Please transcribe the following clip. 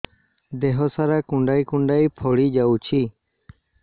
ଦେହ ସାରା କୁଣ୍ଡାଇ କୁଣ୍ଡାଇ ଫଳି ଯାଉଛି